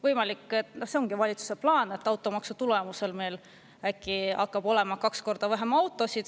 Võimalik, et see ongi valitsuse plaan, et automaksu tulemusel meil äkki hakkab olema kaks korda vähem autosid.